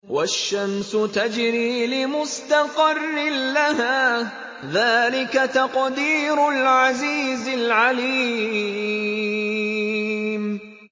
وَالشَّمْسُ تَجْرِي لِمُسْتَقَرٍّ لَّهَا ۚ ذَٰلِكَ تَقْدِيرُ الْعَزِيزِ الْعَلِيمِ